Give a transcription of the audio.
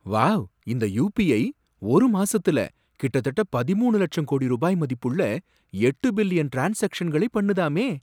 Wow! இந்த UPI, ஒரு மாசத்துல கிட்டத்தட்ட பதிமூணு லட்சம் கோடி ரூபாய் மதிப்புள்ள எட்டு பில்லியன் ட்ரான்ஸாக்ஷன்களை பண்ணுதாமே.